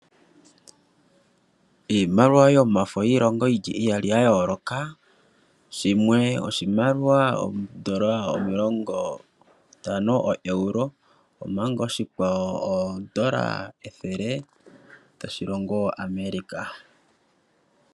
Iimaliwa yomafo yiilongo iyali ya yooloka, shimwe oshimaliwa oo Euro omilongo ntano omanga oshikwawo oo Euro ntano dhoshilongosha America.